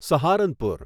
Saharanpur